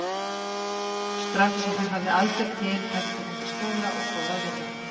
Strax og hún hafði aldur til hætti hún í skóla og fór að vinna.